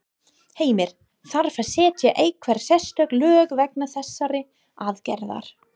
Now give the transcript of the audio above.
Heimir: Þarf að setja einhver sérstök lög vegna þessarar aðgerðar?